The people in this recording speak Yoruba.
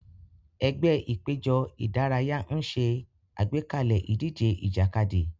Ẹgbẹ́ ìpéjọ ìdárayá ń ṣe àgbékalẹ̀ ìdíje ìjàkadì.